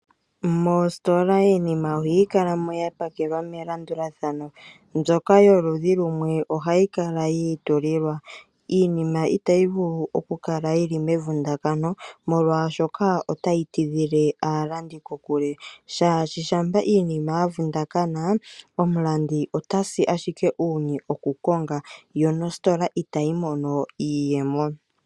Moositola iinima ohayi kala mo ya pakelwa melandulathano, mbyoka yoludhi lumwe ohayi kala yi itulilwa. Iinima itayi vulu oku kala mevundakano molwashoka otayi tidhilile aalandi kokule. Shaashi shampa iinima ya vundakana omulandi otasi ashike uunye oku konga yo nositola itayi mono iiyemo.